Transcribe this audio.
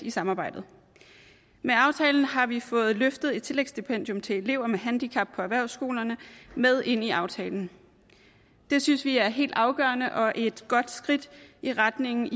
i samarbejdet med aftalen har vi fået løftet et tillægsstipendium til elever med handicap på erhvervsskolerne med ind i aftalen det synes vi er helt afgørende og et godt skridt i retningen